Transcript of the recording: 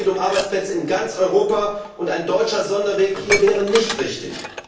Es geht um Arbeitsplätze in ganz Europa, und ein deutscher Sonderweg hier wäre nicht richtig.